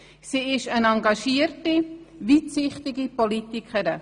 Sie ist eine engagierte, weitsichtige Politikerin.